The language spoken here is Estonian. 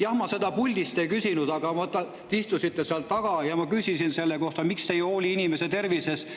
Jah, ma ei küsinud seda, kui te puldis olite, aga te istusite seal taga ja ma küsisin teilt, miks te ei hooli inimeste tervisest.